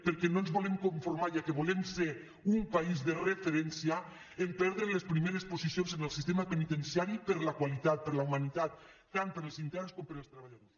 perquè no ens volem conformar ja que volem ser un país de referència a perdre les primeres posicions en el sistema penitenciari per la qualitat per la humanitat tant per als interns com per als treballadors